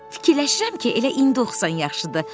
Fikirləşirəm ki, elə indi oxusan yaxşıdır.